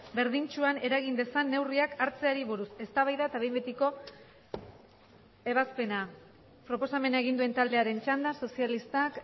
berdintsuan eragin dezan neurriak hartzeari buruz eztabaida eta behin betiko ebazpena proposamena egin duen taldearen txanda sozialistak